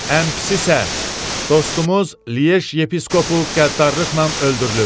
Ən pisi isə dostumuz Liyeş yepiskopu qəddarlıqla öldürülüb.